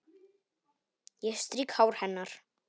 Ég strýk hár hennar.